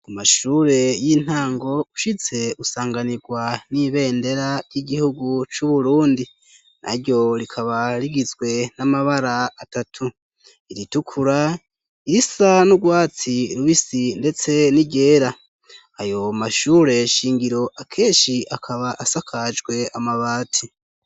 Mu mashure y'intango ushitse usanganirwa n'ibendera ry'igihugu c'u Burundi, naryo rikaba rigizwe n'amabara atatu: iritukura, irisa n'urwatsi rubisi ndetse n'iryera, ayo mashure shingiro akeshi akaba asakajwe amabati.